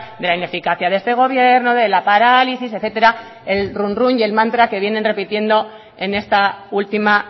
de la ineficacia de este gobierno de la parálisis etcétera el runrún y el mantra que vienen repitiendo en esta última